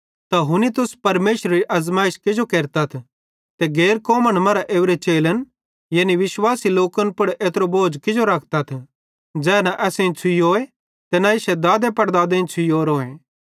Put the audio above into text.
त हुनी तुस परमेशरेरी आज़माइश किजो केरतथ कि गैर कौमन मरां ओरे चेलन यानी विश्वासी लोकन पुड़ एत्रो बोझ किजो रखतथ ज़ै न असेईं छ़ुइयोए ते न इश्शे दादेपड़दादे छ़ुइयोए